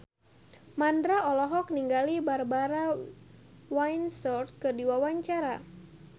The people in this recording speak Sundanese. Mandra olohok ningali Barbara Windsor keur diwawancara